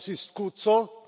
Das ist gut so.